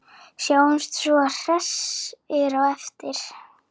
Sjáumst svo hressir á eftir.